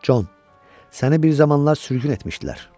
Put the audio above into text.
Jon, səni bir zamanlar sürgün etmişdilər.